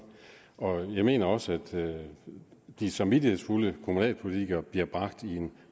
jeg mener også at de samvittighedsfulde kommunalpolitikere bliver bragt i en